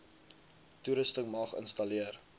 toerusting mag installeer